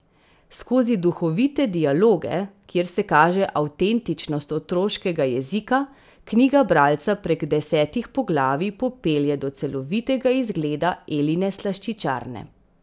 Skozi duhovite dialoge, kjer se kaže avtentičnost otroškega jezika, knjiga bralca prek desetih poglavij popelje do celovitega izgleda Eline slaščičarne.